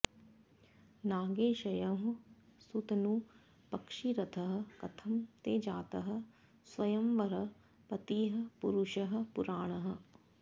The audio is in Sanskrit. नागे शयः सुतनु पक्षिरथः कथं ते जातः स्वयंवर पतिः पुरुषः पुराणः